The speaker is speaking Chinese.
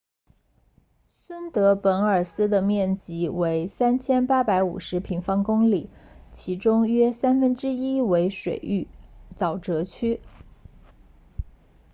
孙德本尔斯的面积为3850平方公里其中约三分之一为水域沼泽区